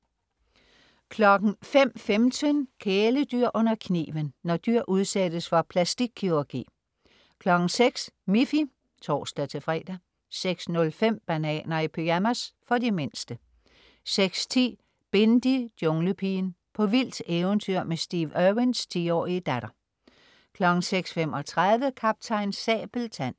05.15 Kæledyr under kniven. Når dyr udsættes for plastikkirurgi 06.00 Miffy (tors-fre) 06.05 Bananer i pyjamas. For de mindste 06.10 Bindi: Junglepigen. På vildt eventyr med Steve Irwins 10-årige datter 06.35 Kaptajn Sabeltand